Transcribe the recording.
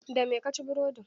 Da me ka ci burodin?